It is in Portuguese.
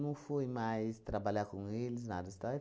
não fui mais trabalhar com eles, nada. Estava